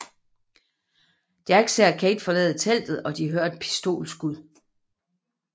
Jack ser Kate forlade teltet og de hører et pistolskud